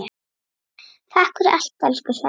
Takk fyrir allt, elsku Svenni.